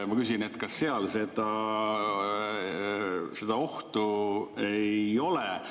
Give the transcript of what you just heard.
Kas seal seda ohtu ei ole?